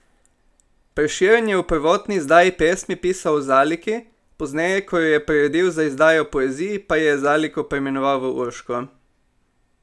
Prešeren je v prvotni izdaji pesmi pisal o Zaliki, pozneje, ko jo je priredil za izdajo Poezij, pa je Zaliko preimenoval v Urško.